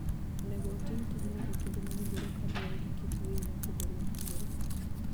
Onego otim tijno e kinde mowinjore kaluwore gi kit winy mopogore opogore.